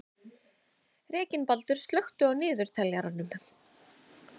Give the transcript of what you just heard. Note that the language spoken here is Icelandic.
Reginbaldur, slökktu á niðurteljaranum.